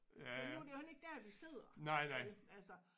Men nu er det jo heller ikke der vi sidder vel altså